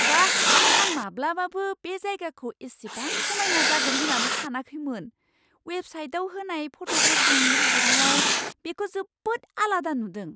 बा! आं माब्लाबाबो बे जायगाखौ इसिबां समायना जागोन होन्नानै सानाखैमोन। अवेबसाइटआव होनाय फट'फोरजों रुजुनायाव बेखौ जोबोद आलादा नुदों।